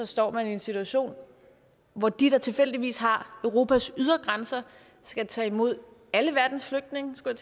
stå i en situation hvor de der tilfældigvis har europas ydre grænser skal tage imod alle verdens flygtninge skulle